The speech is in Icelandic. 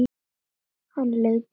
Hann leit á Ara.